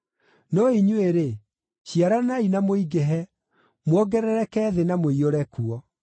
No inyuĩ-rĩ, ciaranai na mũingĩhe; muongerereke thĩ na mũiyũre kuo.”